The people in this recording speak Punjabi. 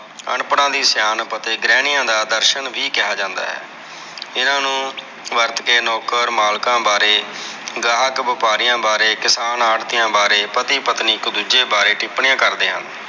ਅਨਪੜਾਂ ਦੀ ਸਿਆਣਪ ਅਤੇ ਗ੍ਰਹਿਨਿਆ ਦਾ ਦਰ੍ਸ਼ਨ ਵੀ ਕਹਾ ਜਾਂਦਾ ਹੈ ਹਨ ਨੂੰ ਵਰਤ ਕੇ ਨੌਕਰ ਮਾਲਕਾਂ ਬਾਰੇ, ਗ੍ਰਾਹਕ ਵ੍ਯਾਪਾਰੀਆਂ ਬਾਰੇ, ਕਿਸਾਨ ਆੜਤਿਆ ਬਾਰੇ ਪਤੀ ਪਤਨੀ ਇੱਕ ਦੂਜੇ ਬਾਰੇ ਟਿੱਪਣੀਆਂ ਕਰਦੇ ਹਨ।